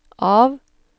av